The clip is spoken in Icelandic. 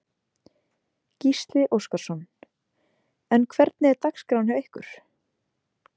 Gísli Óskarsson: En hvernig er dagskráin hjá ykkur?